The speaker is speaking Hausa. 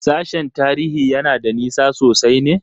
Sashen Tarihi yana da nisa sosai ne?